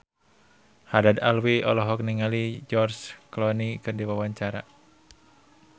Haddad Alwi olohok ningali George Clooney keur diwawancara